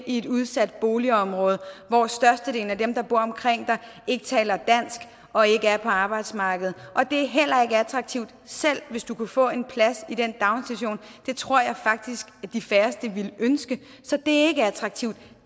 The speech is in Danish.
i et udsat boligområde hvor størstedelen af dem der bor omkring dem ikke taler dansk og ikke er på arbejdsmarkedet og det er heller ikke attraktivt selv hvis du kunne få en plads i den daginstitution det tror jeg faktisk de færreste ville ønske så det er ikke attraktivt